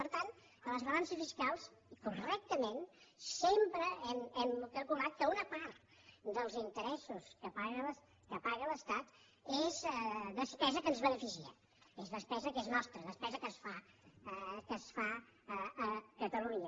per tant a les balances fiscals correctament sempre hem calculat que una part dels interessos que paga l’estat és despesa que ens beneficia és despesa que és nostra despesa que es fa a catalunya